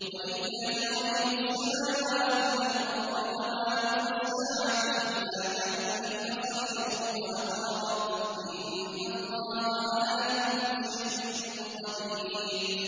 وَلِلَّهِ غَيْبُ السَّمَاوَاتِ وَالْأَرْضِ ۚ وَمَا أَمْرُ السَّاعَةِ إِلَّا كَلَمْحِ الْبَصَرِ أَوْ هُوَ أَقْرَبُ ۚ إِنَّ اللَّهَ عَلَىٰ كُلِّ شَيْءٍ قَدِيرٌ